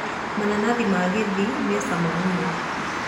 Mananathi ma Gĩthii me cama mũno